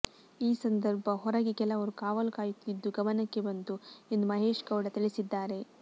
ಈ ಸಂದರ್ಭ ಹೊರಗೆ ಕೆಲವರು ಕಾವಲು ಕಾಯುತ್ತಿದ್ದುದು ಗಮನಕ್ಕೆ ಬಂತು ಎಂದು ಮಹೇಶಗೌಡ ತಿಳಿಸಿದ್ದಾರೆ